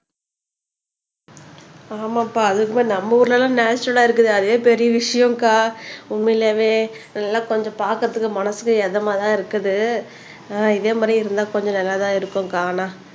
ஆமாம்ப்பா அதுவும் நம்ம ஊர்ல எல்லாம் நேச்சரல்லா இருக்குது அதே பெரிய விஷயம் அக்கா உண்மையிலேயே அதெல்லாம் கொஞ்சம் பார்க்குறதுக்கு மனசுக்கு இதமாதான் இருக்குது ஆஹ் இதே மாதிரி இருந்தா கொஞ்சம் நல்லாதான் இருக்கும்க்கா ஆனா